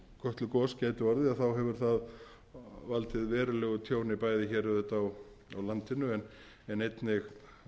gæti orðið hefur það valdið verulegu tjóni bæði hér auðvitað á landinu en einnig